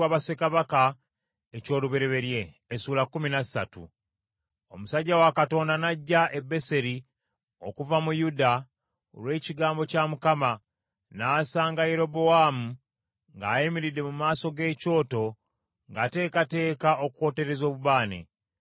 Omusajja wa Katonda n’ajja e Beseri okuva mu Yuda olw’ekigambo kya Mukama , n’asanga Yerobowaamu ng’ayimiridde mu maaso g’ekyoto ng’ateekateeka okwotereza obubaane.